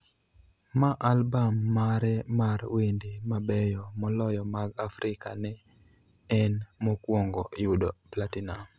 ma albam mare mar wende mabeyo moloyo mag Afrika ne en mokwongo yudo Platinum